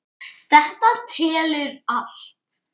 Þetta telur allt.